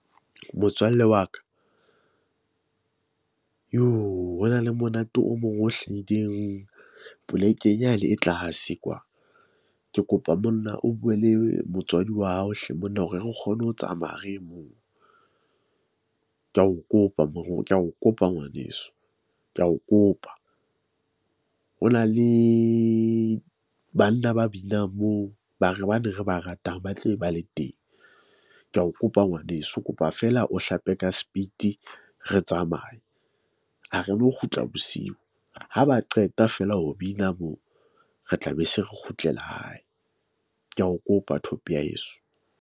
Motswalle wa ka joo ho na le monate o mong o hlahileng polekeng, ya le e tlase kwa. Ke kopa monna o bue le motswadi wa hao hle monna hore re kgone ho tsamaya re ye moo. Ke a o kopa ke a o kopa ngwaneso, ke a o kopa. Ho na le banna ba binang moo ba re hobane re bangata ba tla be ba le teng. Ke a o kopa ngwaneso, kopa fela o hlape ka spiti, re tsamaye. Ha re no kgutla bosiu. Ha ba qeta feela ho bina moo re tla be se re kgutlela hae. Ke a o kopa thope ya heso.